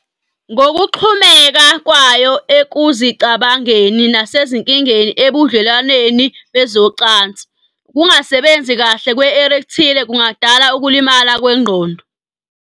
Ngokuxhumeka kwayo ekuzicabangeni nasezinkinga ebudlelwaneni bezocansi, ukungasebenzi kahle kwe-erectile kungadala ukulimala kwengqondo.